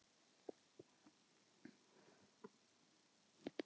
En Helga þarf ekki að beygja sig og brosa óstyrk.